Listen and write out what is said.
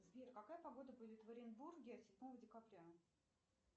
сбер какая погода будет в оренбурге седьмого декабря